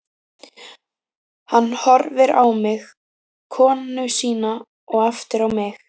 Hann horfir á mig, konu sína og aftur á mig.